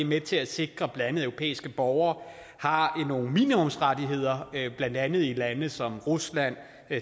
med til at sikre at europæiske borgere har nogle minimumsrettigheder blandt andet i lande som rusland